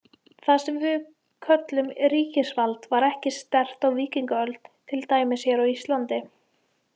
Það sem við köllum ríkisvald var ekki sterkt á víkingaöld, til dæmis hér á Íslandi.